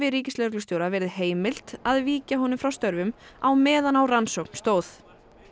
ríkislögreglustjóra verið heimilt að víkja honum frá störfum á meðan á rannsókn stóð